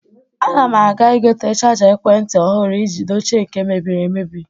Ana m aga igote chaja ekwenti ọhụrụ iji dochie nke mebiri emebi.